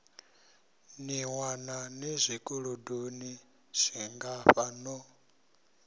ḓiwana ni zwikolodoni zwingafha no